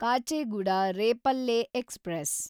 Kacheguda Repalle express